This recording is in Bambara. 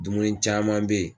Dumuni caman be yen